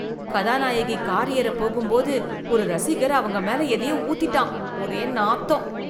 கதாநாயகி கார் ஏற போகும்போது ஒரு ரசிகர் அவங்க மேல எதையோ ஊத்திட்டான், ஒரே நாத்தம்.